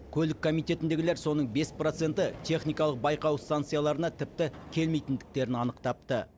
көлік комитетіндегілер соның бес проценті техникалық байқау станцияларына тіпті келмейтіндіктерін анықтапты